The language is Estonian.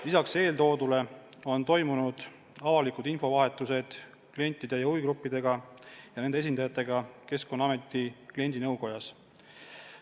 Lisaks on toimunud avalikud infovahetused klientide ja huvigruppidega ja nende esindajatega Keskkonnaameti kliendinõukojas.